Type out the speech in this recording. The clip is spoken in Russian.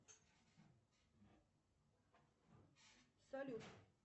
салют